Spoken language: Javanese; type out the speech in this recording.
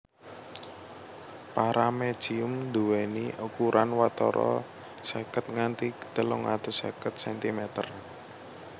Paramecium nduwèni ukuran watara seket nganti telung atus seket centimeter